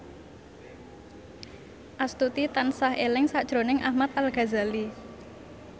Astuti tansah eling sakjroning Ahmad Al Ghazali